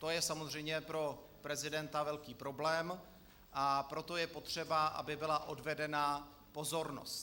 To je samozřejmě pro prezidenta velký problém, a proto je potřeba, aby byla odvedena pozornost.